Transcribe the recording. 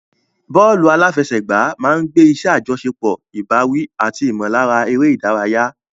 Bọ́ọ̀lù àfẹsẹ̀gbá máa ń gbé iṣẹ́ àjọṣepọ̀, ìbáwí, àti ìmọ̀lára eré ìdárayá.